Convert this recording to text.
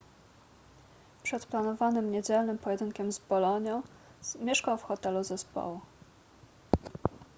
przed planowanym niedzielnym pojedynkiem z bolonią mieszkał w hotelu zespołu